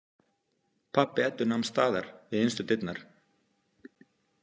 Pabbi Eddu nam staðar við innstu dyrnar.